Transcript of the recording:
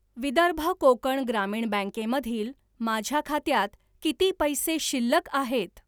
विदर्भ कोकण ग्रामीण बँके मधील माझ्या खात्यात किती पैसे शिल्लक आहेत?